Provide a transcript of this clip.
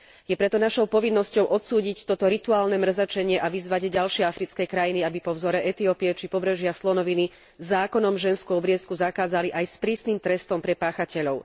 Je preto našou povinnosťou odsúdiť toto rituálne mrzačenie a vyzvať ďalšie africké krajiny, aby po vzore Etiópie, či Pobrežia slonoviny zákonom ženskú obriezku zakázali aj s prísnym trestom pre páchateľov.